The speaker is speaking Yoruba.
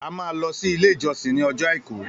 A máa lọ sí ilé ìjọsìn ní ọjọ́ àìkú